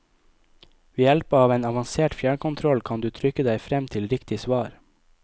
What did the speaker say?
Ved hjelp av en avansert fjernkontroll, kan du trykke deg frem til riktig svar.